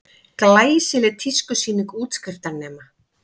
Glæsileg tískusýning útskriftarnema